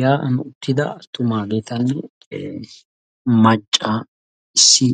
Ya"aan uttida macca issi